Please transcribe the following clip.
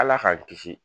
Ala k'an kisi